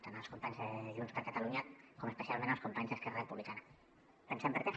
tant els companys de junts per catalunya com especialment els companys d’esquerra republicana pensem per què